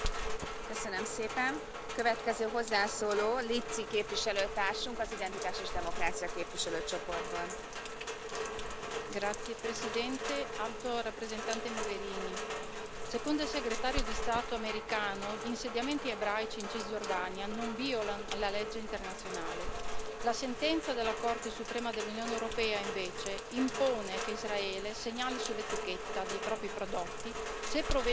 Signora Presidente, onorevoli colleghi, signora Alto rappresentante Mogherini, secondo il Segretario di Stato americano gli insediamenti ebraici in Cisgiordania non violano la legge internazionale. La sentenza della Corte di giustizia dell'Unione europea, invece, impone che Israele segnali sull'etichetta dei propri prodotti se provengono da insediamenti situati in uno dei territori cosiddetti occupati.